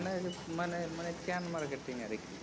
মানে মানে মানে এই chain marketing আরকি